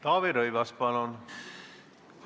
Taavi Rõivas, palun!